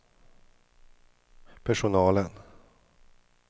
personalen